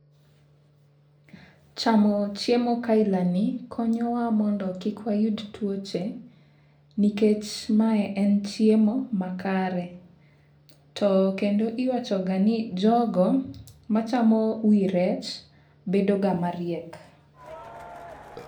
Chamo chiemo kaila ni konyowa mondo kik wayud tuoche nikech ma en chiemo makare. To kendo iwacho ga ni jogo machamo wii rech bedo ga mariek.